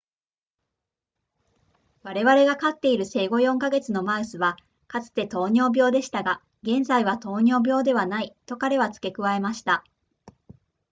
「我々が飼っている生後4か月のマウスはかつて糖尿病でしたが現在は糖尿病ではない、」と彼は付け加えました